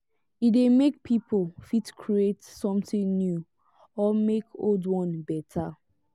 e dey make pipo fit create something new or make old one better